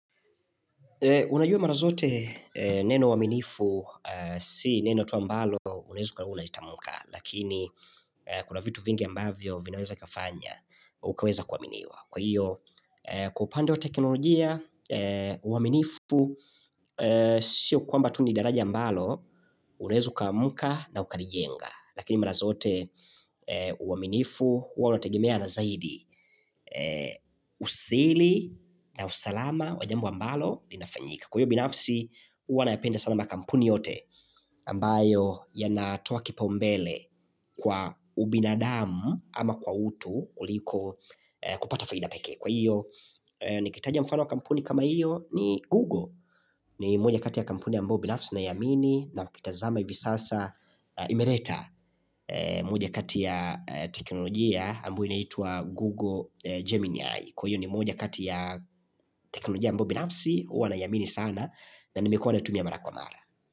Unajua marazote neno uaminifu, si neno tu ambalo unaweza ukawa unalitamka, lakini kuna vitu vingi ambavyo vinaweza vikafanya, ukaweza kuaminiwa. Kwa hiyo, kwa upande wa teknolojia, uaminifu, siyo kwamba tu nidaraja ambalo, unaweza ukamka na ukarijenga Lakini marazote, uaminifu, huwa unategemea na zaidi, usiri na usalama wa jambo ambalo, linafanyika Kwa hiyo, binafsi, huwa na yapenda sana makampuni yote, ambayo yanatoa kipaombele kwa ubinadamu ama kwa utu kuliko kupata faida pekee Kwa hiyo, nikitaja mfano wa kampuni kama hiyo ni Google ni moja kati ya kampuni ambayo binafsi ninaiamini na ukitazama hivi sasa imeleta moja kati ya teknolojia ambayo inaitwa Google Gemini AI Kwa hiyo ni moja kati ya teknolojia ambayo binafsi huwa na iamini sana na nimekuwa naitumia mara kwa mara.